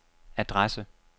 adresse